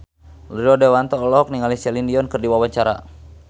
Rio Dewanto olohok ningali Celine Dion keur diwawancara